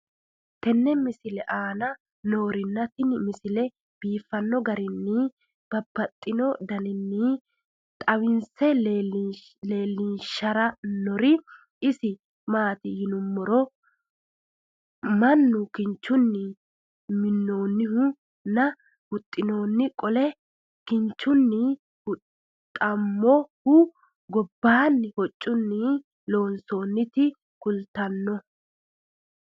tenne misile aana noorina tini misile biiffanno garinni babaxxinno daniinni xawisse leelishanori isi maati yinummoro minnu kinchchunni minoonnihu nna huxxissinno qole kinchchunni huxxamohu gobbanni hoccunni loonsoonniretti kulittannohu